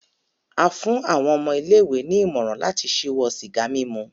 A fún àwọn ọmọ ilé-ìwé ní ìmọ̀ràn láti ṣíwọ́ sìgá mímu